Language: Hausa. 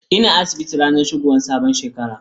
Ina asibiti ranar shigowar sabuwar shekara.